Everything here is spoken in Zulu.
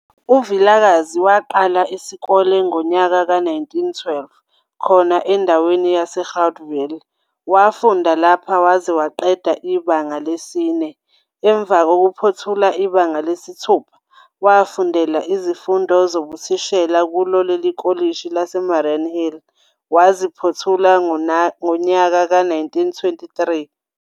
UVilakazi waqala isikole ngonyaka we-1912 khona endaweni yaseGroutville, wafunda lapha waze waqeda ibanga lesi-4. Emva kokuphothula ibanga lesi-6 wafundela izifundo zobuthithishela kulo lele Kolishi lase Mariannhill, waziphothula ngonyaka we-1923.